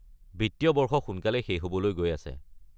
বিত্তীয় বৰ্ষ সোনকালেই শেষ হ'বলৈ গৈ আছে।